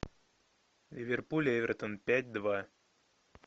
ливерпуль эвертон пять два